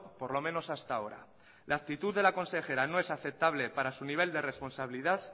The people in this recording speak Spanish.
por lo menos hasta ahora la actitud de la consejera no es aceptable para su nivel de responsabilidad